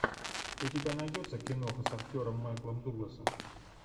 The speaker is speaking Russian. у тебя найдется киноха с актером майклом дугласом